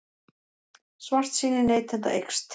Svartsýni neytenda eykst